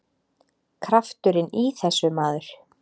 Krafturinn í þessu, maður!